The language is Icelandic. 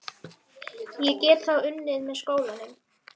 Ég get þá unnið með skólanum.